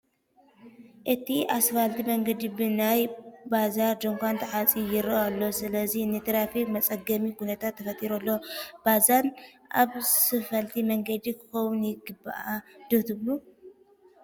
እቲ ኣስፋልት መንገዲ ብናይ ባዛር ድንዃን ተዓፅዩ ይርአ ኣሎ፡፡ ስለዚ ንትራፊክ መፀገሚ ኩነታት ተፈጢሩ ኣሎ፡፡ ባዛን ኣብ ስፋልት መንገዲ ክኸውን ይግብኦ ዶ ትብሉ?